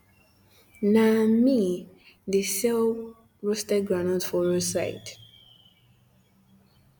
na um me um de sell roasted groundnut for road side